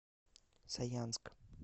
саянск